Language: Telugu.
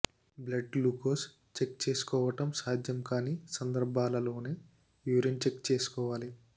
బ్లడ్ గ్లూకోజ్ చెక్ చేసుకోవటం సాధ్యంకాని సందర్భాలలోనే యూరిన్ చెక్ చేసుకోవాలి